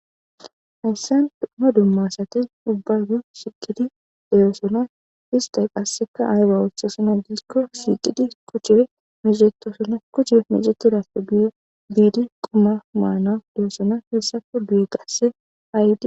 hayssan dumma dummasati dubbagu shikidi deyeosona istay qasseka ayra wothosuna diikko sixidi kuchee misetosona kuchee micetidafe biidi quma maana deyosona heessako duye gasse haydi